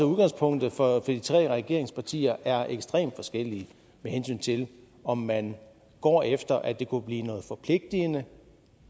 at udgangspunktet for de tre regeringspartier er ekstremt forskelligt med hensyn til om man går efter at det kunne blive noget forpligtende